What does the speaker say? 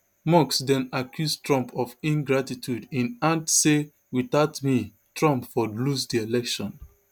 musk den accuse trump of ingratitude im add say without me trump for lose di election